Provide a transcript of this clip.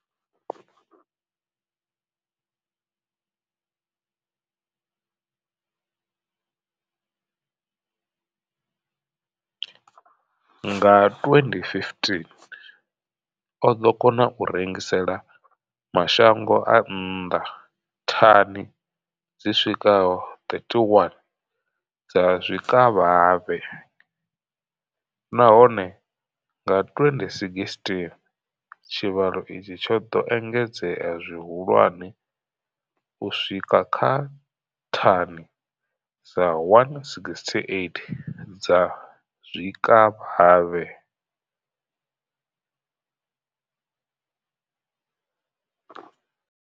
Nga 2015, o ḓo kona u rengisela mashango a nnḓa thani dzi swikaho 31 dza zwikavhavhe, nahone nga 2016 tshivhalo itshi tsho ḓo engedzea zwihulwane u swika kha thani dza 168 dza zwikavhavhe.